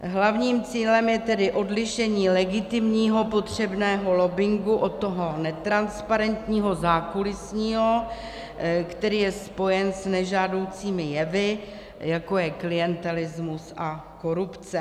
Hlavním cílem je tedy odlišení legitimního potřebného lobbingu od toho netransparentního zákulisního, který je spojen s nežádoucími jevy, jako je klientelismus a korupce.